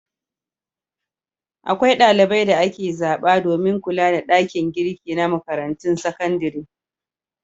Akwai ɗalibai da ake zaɓa domin kula da ɗakin girki na makarantun sakandare.